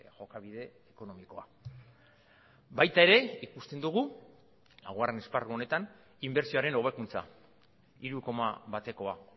jokabide ekonomikoa baita ere ikusten dugu laugarren esparru honetan inbertsioaren hobekuntza hiru koma batekoa